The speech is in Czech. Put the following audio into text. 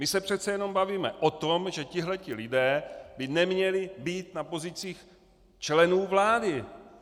My se přece jenom bavíme o tom, že tito lidé by neměli být na pozicích členů vlády.